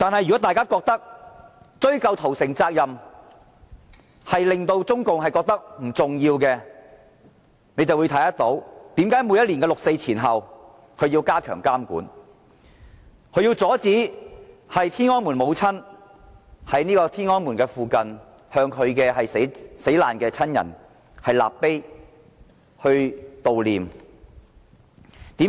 如果大家覺得我們追究屠城責任，對中國而言並不重要，且看看為何每年六四前後，中共政權要加強監管，要阻止天安門母親在天安門附近為其死難親人立碑悼念。